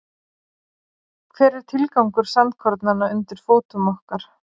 Hver er tilgangur sandkornanna undir fótum okkar?